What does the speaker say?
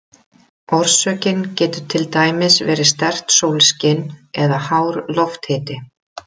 Orsökin getur til dæmis verið sterkt sólskin eða hár lofthiti.